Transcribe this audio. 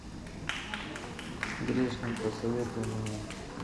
грешник посоветуй мне